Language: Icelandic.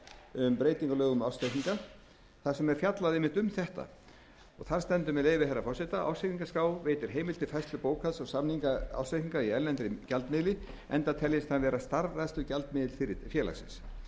um breytingu á lögum um ársreikninga þar sem er fjallað einmitt um þetta þar stendur með leyfi herra forseta ársreikningaskrá veitir heimild til færslu bókhalds og samningar ársreikninga í erlendum gjaldmiðli enda teljist hann vera starfrækslugjaldmiðill félagsins